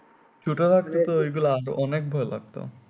অনেক ভয় লাগতো